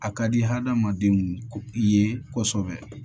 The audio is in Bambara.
A ka di hadamadenw ye kosɛbɛ